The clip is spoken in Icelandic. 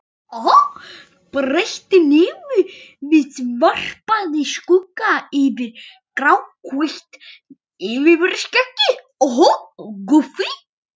Breitt nefið varpaði skugga yfir gráhvítt yfirvaraskeggið.